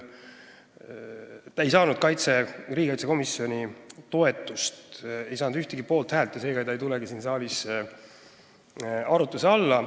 Teine ettepanek ei saanud ühtegi poolthäält ega tule seega siin saalis arutuse alla.